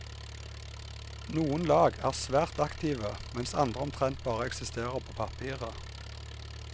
Noen lag er svært aktive, mens andre omtrent bare eksisterer på papiret.